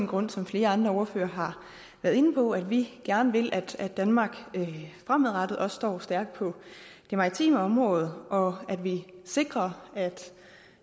grunde som flere andre ordførere har været inde på nemlig at vi gerne vil at danmark fremadrettet også står stærkt på det maritime område og at vi sikrer